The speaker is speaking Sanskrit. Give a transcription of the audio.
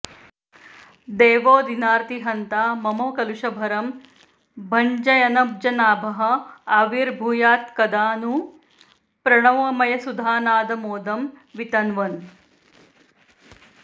देवो दीनार्तिहन्ता मम कलुषभरं भञ्जयन्नब्जनाभः आविर्भूयात्कदा नु प्रणवमयसुधानादमोदं वितन्वन्